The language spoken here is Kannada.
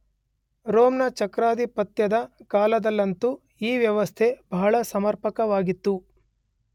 ರೋಮನ್ ಚಕ್ರಾಧಿಪತ್ಯದ ಕಾಲದಲ್ಲಂತೂ ಈ ವ್ಯವಸ್ಥೆ ಬಹಳ ಸಮರ್ಪಕವಾಗಿತ್ತು.